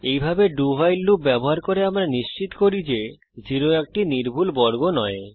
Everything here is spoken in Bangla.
এইভাবে do ভাইল লুপ ব্যবহার করে আমরা নিশ্চিত করি যে 0 একটি নির্ভুল বর্গ নয়